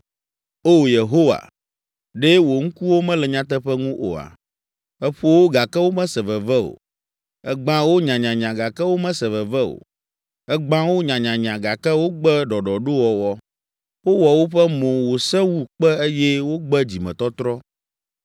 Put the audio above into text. O Yehowa, ɖe wò ŋkuwo mele nyateƒe ŋu oa? Èƒo wo gake womese veve o, ègbã wo nyanyanya gake womese veve o, ègbã wo nyanyanya gake wogbe ɖɔɖɔɖowɔwɔ. Wowɔ woƒe mo wòsẽ wu kpe eye wogbe dzimetɔtrɔ.